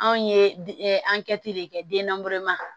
Anw ye an kɛti de kɛ den na